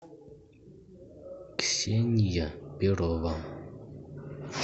ксения перова